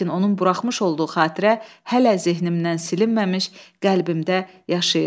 Lakin onun buraxmış olduğu xatirə hələ zehnimdən silinməmiş qəlbimdə yaşayırdı.